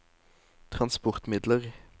transportmidler